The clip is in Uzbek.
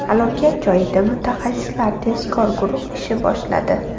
Halokat joyida mutaxassislar tezkor guruhi ish boshladi.